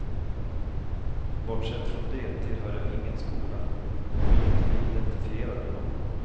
Bortsett från det tillhör jag ingen skola och vill inte bli identifierad med någon.